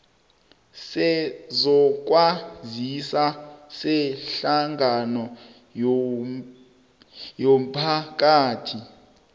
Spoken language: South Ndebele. sezokwazisa sehlangano yomphakathi